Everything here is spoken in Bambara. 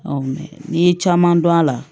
n'i ye caman dɔn a la